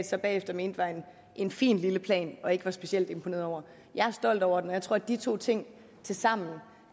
så bagefter mente var en fin lille plan og ikke var specielt imponeret over jeg er stolt over den og jeg tror at de to ting tilsammen